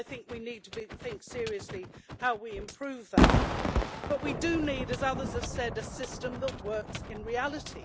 So I think we need to think seriously about how we improve that. But we do need, as others have said, a system that works in reality.